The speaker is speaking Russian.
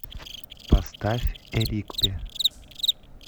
поставь эрикпе